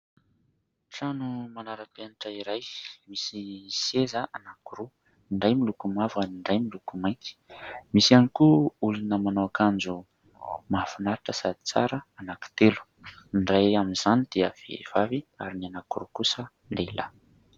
Trano manara-penatra iray misy seza anankiroa : ny iray miloko mavo ary ny iray miloko mainty. Misy ihany koa olona manao akanjo mahafinaritra sady tsara anankitelo, ny ray amin'izany dia vehivavy ary ny anankiroa kosa lehilahy.